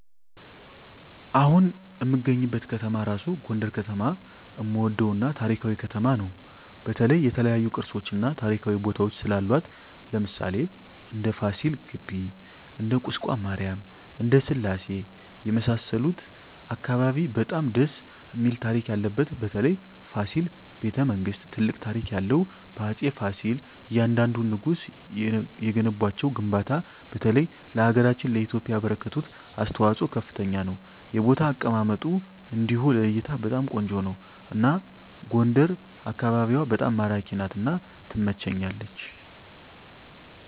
አሁን እምገኝበት ከተማ እራሡ ጎንደር ከተማ እምወደው እና ታሪካዊ ከተማ ነው በተለይ የተለያዮ ቅርሶች እና ታሪካዊ ቦታወች ስላሏት ለምሣሌ እንደ ፍሲል ግቢ እንደ ቁስቋም ማሪያም እንደ ስላሴ የመሣሠሉት አካባቢ በጣም ደስ እሚል ታሪክ ያለበት በተለይ ፋሲል በተ መንግስት ትልቅ ታሪክ ያለው በአፄ ፍሲል እያንደንዱ ንጉስ የገነቧቸው ግንባታ በተለይ ለሀገራችን ለኢትዮጵያ ያበረከቱት አስተዋፅኦ ከፍተኛ ነው የቦታ አቀማመጡ እንዲሁ ለእይታ በጣም ቆንጆ ነው አና ጎንደር አካቢዋ በጣም ማራኪ ናት እና ትመቸኛለች